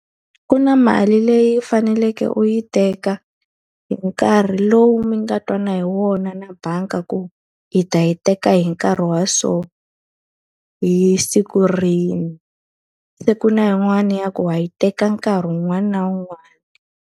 Ku na mali leyi faneleke u yi teka hi nkarhi lowu mi nga twana hi wona na banga ku u ta yi teka hi nkarhi wa so, hi siku rihi. Se ku na yin'wani ya ku wa yi teka nkarhi wun'wani na wun'wani.